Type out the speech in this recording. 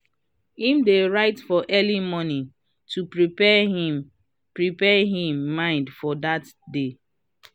him dey write for early morning to prepare him prepare him mind for dat day.